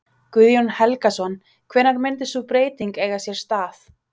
Guðjón Helgason: Hvenær myndi sú breyting eiga sér stað?